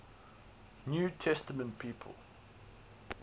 new testament people